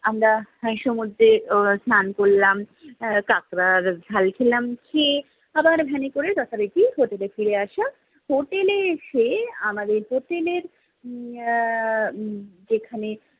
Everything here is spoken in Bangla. আমরা সমুদ্রের আহ স্নান করলাম, আহ কাঁকড়ার ঝাল খেলাম, খেয়ে আবার ভ্যানে করে যথারীতি হোটেলে ফিরে আসা, হোটেলে এসে, আমাদের হোটেলের আহ যেখানে